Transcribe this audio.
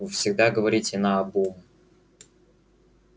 вы всегда говорите наобум